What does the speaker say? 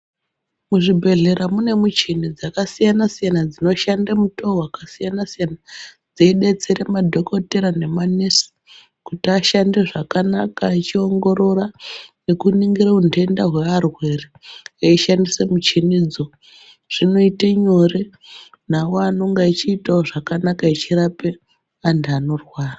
Muzvibhehlera mune michini dzakasiyanasiyana dzinoshande mutoo wakasiyanasiyana dzeidetsere madhokodheya nemanesi kuti ashande zvakanaka echiongorora nekuningirire utenda hwearwere eishandise michini dzo zvinoite nyore nawo anenge achiite zvakanaka echirape antu anorwara.